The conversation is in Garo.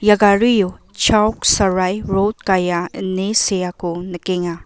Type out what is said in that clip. ia gario chauk sarai rod gaia ine seako nikenga.